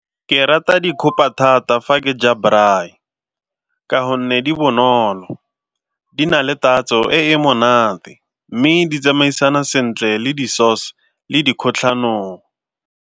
Ke rata dikgopa thata fa ke ja braai ka gonne di bonolo, di na le tatso e e monate mme di tsamaisana sentle le di-sause le di kgotlhanong.